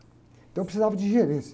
Então precisava de gerente.